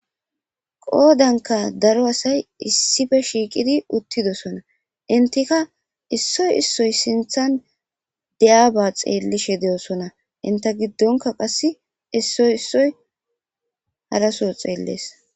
Qoodanka daro asay issife shiiqidi uttidosona intika issoy issoy sinthan deya ba xeellishe de'osona inta giddonka qass issoy issoy halaso xeellees.